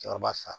Cɛkɔrɔba fa